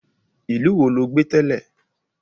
Ìlú wo ló gbé tẹ́lẹ̀?